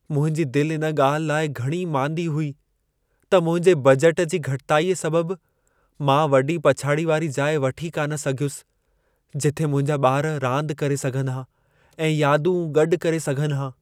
मुंहिंजी दिलि इन ॻाल्हि लाइ घणी मांदी हुई त मुंहिंजे बजट जी घटिताई सबबु मां वॾी पछाड़ी वारी जाइ वठी कान सघयुसि जिथे मुंहिंजा ॿार रांदि करे सघनि हा ऐं यादूं गॾु करे सघनि हा।